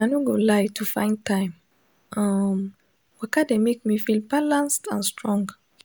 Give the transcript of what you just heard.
i no go lie to find time um waka dey make me feel balanced and strong